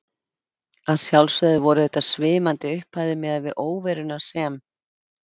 Að sjálfsögðu voru þetta svimandi upphæðir miðað við óveruna sem